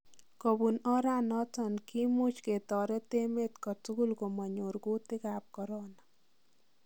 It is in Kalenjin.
Kobuun oranoton kimuuch ketoret emet kotugul komonyoor kuutik ab coron.